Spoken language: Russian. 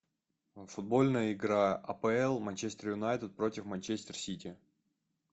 футбольная игра апл манчестер юнайтед против манчестер сити